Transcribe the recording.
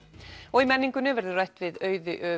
og í menningunni verður rætt við Auði